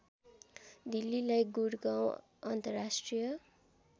दिल्लीलाई गुडगाउँ अन्तर्राष्ट्रिय